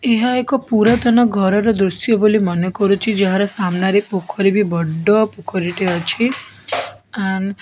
ଏହା ଏକ ପୁରାତନ ଘର ର ଦୃଶ୍ୟ ବୋଲି ମନେ କରୁଚି ଯାହାର ସାମ୍ନା ରେ ପୋଖରୀ ବି ବଡ ପୋଖରୀ ଟିଏ ଅଛି ଆଣ୍ଡ --